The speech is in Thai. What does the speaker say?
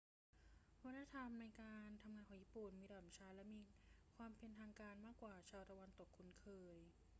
วัฒนธรรมในการทำงานของญี่ปุ่นมีลำดับชั้นและมีความเป็นทางการมากกว่าที่ชาวตะวันตกคุ้นเคย